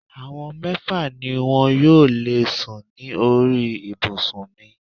Àwọn mẹ́fà ni wọn yóò lè sùn ní orí ibùsùn mi